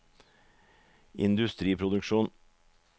industriproduksjon